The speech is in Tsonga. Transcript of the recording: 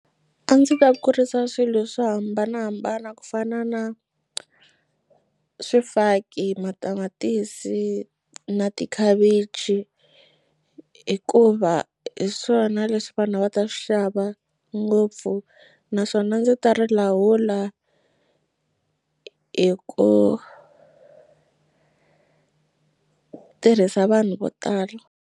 A ndzi ta kurisa swilo swo hambanahambana ku fana na swifaki, matamatisi na tikhavichi hikuva hi swona leswi vanhu a va ta swi xava ngopfu naswona ndzi ta ri lawula hi ku tirhisa vanhu vo tala.